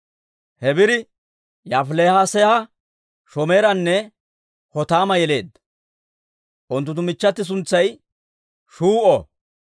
Hebeeri Yaafilees'a, Shomeeranne Hotaama yeleedda; unttunttu michchati suntsay Shuu'o.